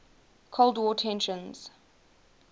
cold war tensions